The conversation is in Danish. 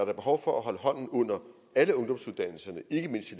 er behov for at holde hånden under alle ungdomsuddannelserne ikke mindst